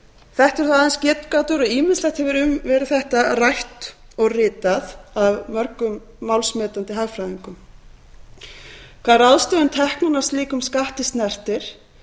þetta eru þó aðeins getgátur og ýmislegt hefur verið um þetta rætt og ritað af mörgum málsmetandi hagfræðingum hvað ráðstöfun teknanna af slíkum skatti snertir